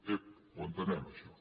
ep ho entenem això